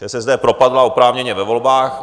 ČSSD propadla oprávněně ve volbách.